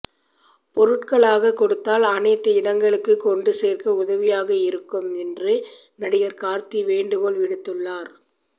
பொருட்களாக கொடுத்தால் அனைத்து இடங்களுக்கு கொண்டு சேர்க்க உதவியாக இருக்கும் என்று நடிகர் கார்த்தி வேண்டுகோள் விடுத்துள்ளார்